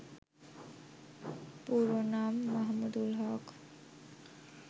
পুরো নাম মাহমুদুল হক